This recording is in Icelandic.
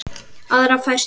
aðra færslu.